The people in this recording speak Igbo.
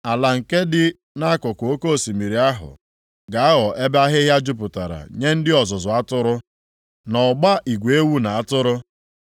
Ala nke dị nʼakụkụ oke osimiri ahụ, ga-aghọ ebe ahịhịa jupụtara nye ndị ọzụzụ atụrụ na ọgba igwe ewu na atụrụ.